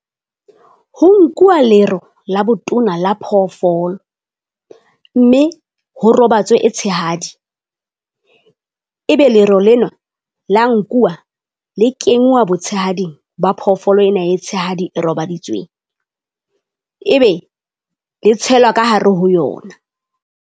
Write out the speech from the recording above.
Ho nkuwa lero la botona la phoofolo, mme ho robatswe e tshehadi e be lero leno la nkuwa le kenngwa botshehading ba phoofolo ena e tshehadi e robaditsweng, e be le tshelwa ka hare ho yona.